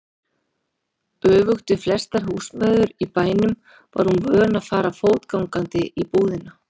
Öfugt við flestar húsmæður í bænum var hún vön að fara fótgangandi í búðina.